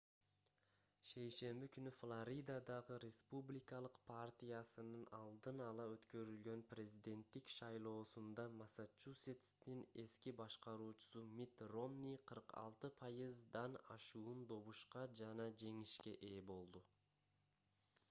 шейшемби күнү флоридадагы республикалык партиясынын алдын ала өткөрүлгөн президенттик шайлоосунда массачусетстин эски башкаруучусу митт ромни 46% ашуун добушка жана жеңишке ээ болду